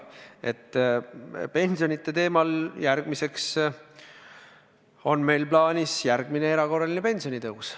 Pensionite teemal on meil plaanis järgmine erakorraline pensionitõus.